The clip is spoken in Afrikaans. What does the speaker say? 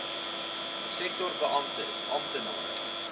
sektor beamptes amptenare